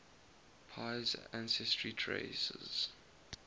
pei's ancestry traces